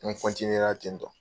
N ten tɔn.